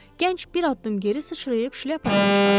Gənc bir addım geri sıçrayıb şlyapasını çıxardı.